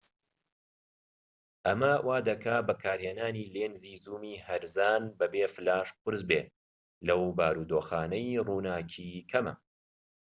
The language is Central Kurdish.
ئەمە وا دەکات بەکارهێنانی لێنزی زوومی هەرزان بە بێ فلاش قورس بێت لەو بارودۆخانەی ڕووناکی کەمە